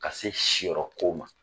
Ka se si yɔrɔ ko ma